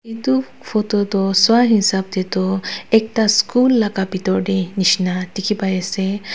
edu photo toh swahisap taetoh ekta school laka bitor tae nishina dikhipaiase.